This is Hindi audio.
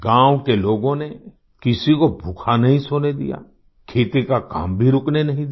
गाँव के लोगों ने किसी को भूखा नहीं सोने दिया खेती का काम भी रुकने नहीं दिया